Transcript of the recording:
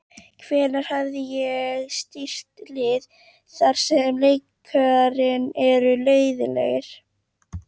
Hvenær hef ég stýrt liði þar sem leikirnir eru leiðinlegir?